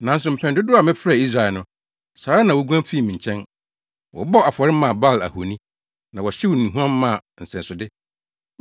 Nanso mpɛn dodow a mefrɛɛ Israel no, saa ara na woguan fii me nkyɛn. Wɔbɔɔ afɔre maa Baal ahoni, na wɔhyew nnuhuam maa nsɛsode.